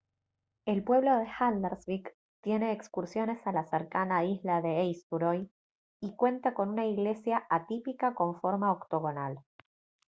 el pueblo de haldarsvík tiene excursiones a la cercana isla de eysturoy y cuenta con una iglesia atípica con forma octogonal